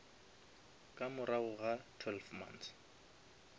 ka morago ga twelve months